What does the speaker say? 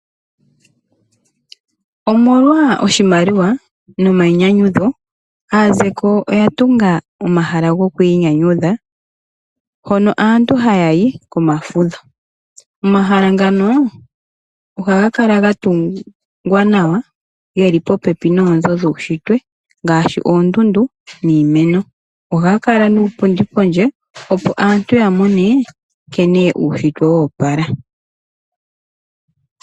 Omolwa oshimaliwa nomayinyanyudho. Aazeko oyatunga omahala goku inyanyadha hono aantu ha yayi komafudho. Omahala ngano ohaga kala ga tungwa nawa geli popepi noonzo dhuushitwe ngaashi oondundu niimeno .ohaga kala niipundi pondje opo aantu yamone nkene uushitwe wo opala.